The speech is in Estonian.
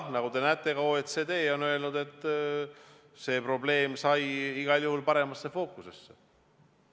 Nagu te näete, ka OECD on öelnud, et see probleem sai igal juhul paremasse fookusesse.